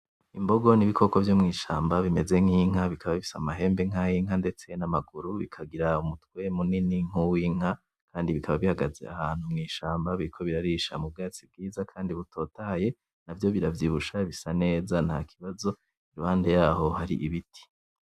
Imbogo n'ibikoko vyo mwishamba bimeze nk'inka bikaba bifise amahembe nkay' inka, ndetse n'amaguru bikagira umutwe munini nkuw 'inka Kandi bikaba bihagaze ahantu mwishamba biriko birarisha mu bwatsi bwiza Kandi butotahaye navyo biravyibushe bisa neza ntakibazo iruhande yavyo har'ibiti.